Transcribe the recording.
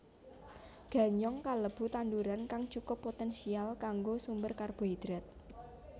Ganyong kalebu tanduran kang cukup poténsial kanggo sumber karbohidrat